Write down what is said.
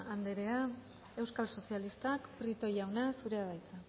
anderea euskal sozialistak prieto jauna zurea da hitza